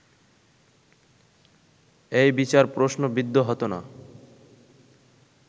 এই বিচার প্রশ্নবিদ্ধ হতো না